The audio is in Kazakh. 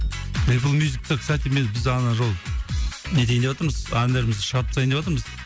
эплмюзикте кстати мен біз ана жолы не етейін деватырмыз әндерімізді шығарып тастайын деватырмыз